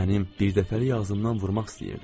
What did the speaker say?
Mənim birdəfəlik ağzımdan vurmaq istəyirdi.